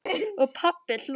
Og pabbi hló.